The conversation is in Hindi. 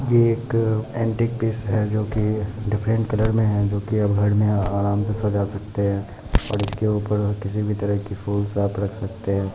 ये एक ऐन्टीक पीस है जोकी डिफ्रन्ट कलर मे है जोकी अब घर मे आराम से सजा सकते है और एसके ऊपर किसी भी तरह की फूल अप--